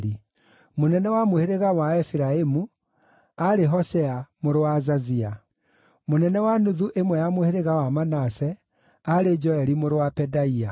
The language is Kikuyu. mũnene wa mũhĩrĩga wa Aefiraimu aarĩ Hoshea mũrũ wa Azazia; mũnene wa nuthu ĩmwe ya mũhĩrĩga wa Manase aarĩ Joeli mũrũ wa Pedaia;